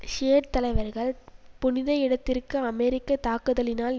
Shiite தலைவர்கள் புனித இடத்திற்கு அமெரிக்க தாக்குதலினால்